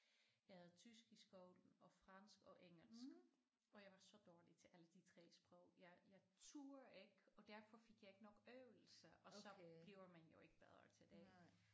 Jeg havde tysk i skolen og fransk og engelsk og jeg var så dårlig til alle de 3 sprog jeg jeg turde ikke og derfor fik jeg ikke nok øvelse og så bliver man jo ikke bedre til det